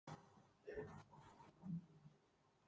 Ég spyr þig sömu spurningar, hrópar hún æst.